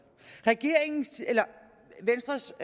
venstres